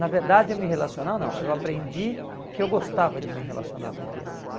Na verdade a me relacionar não, eu aprendi que eu gostava de me relacionar com crianças.